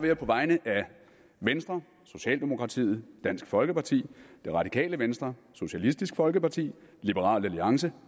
jeg på vegne af venstre socialdemokratiet dansk folkeparti det radikale venstre socialistisk folkeparti liberal alliance